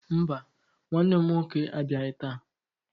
Mba, nwanne m nwoke abịaghị taa.